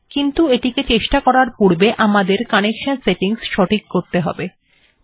তৃতীয় অপশনটিকে নির্বাচন করা যাক